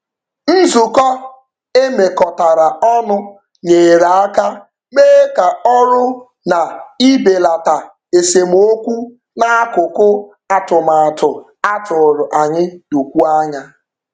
Nzukọ e mekọtara ọnụ nyere aka mee ka ọrụ na ibelata esemokwu n'akụkụ atụmatụ a tụrụ anya dokwuo anya.